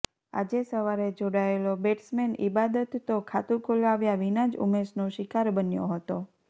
આજે સવારે જોડાયેલો બેટ્સમેન ઈબાદત તો ખાતું ખોલાવ્યા વિના જ ઉમેશનો શિકાર બન્યો હતો